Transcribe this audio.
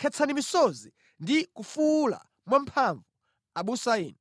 Khetsani misozi ndi kufuwula mwamphamvu, abusa inu;